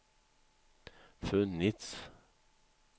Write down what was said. funnits